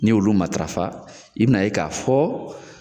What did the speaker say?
N'i y'olu matarafa, i bɛna ye k'a fɔ